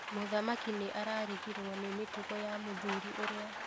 Mũthamaki nĩarigirwo nĩ mĩtugo ya Mũthuri ũrĩa.